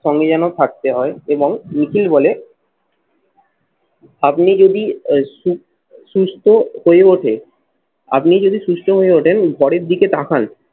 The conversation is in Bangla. সঙ্গে যেন থাকতে হয় এবং নিখিল বলে আপনি যদি এই সুস্থ হয়ে ওঠে আপনি যদি সুস্থ হয়ে ওঠেন ঘরের দিকে তাকান